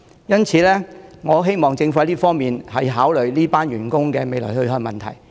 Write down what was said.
因此，我希望政府考慮這群員工的去向。